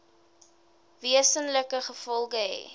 wesenlike gevolge hê